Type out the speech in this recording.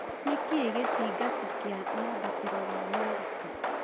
nĩ kĩĩ gĩtangati kia mwambatĩro wa merika